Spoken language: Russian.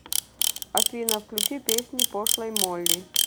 афина включи песни пошлой молли